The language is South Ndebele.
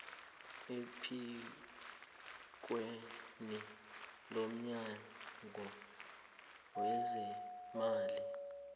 ephikweni lomnyango wezeemali